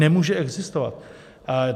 Nemůže existovat!